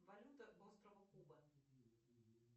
валюта острова куба